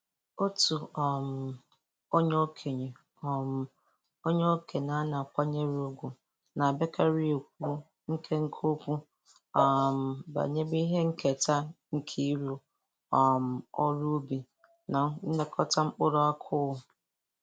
Otu um onye okenye um onye okenye a na-akwanyere ugwu na-abiakarị ekwu nkenke okwu um banyere ihe nketa nke ịrụ um ọrụ ubi na nịekọta mkpụrụ akụụ.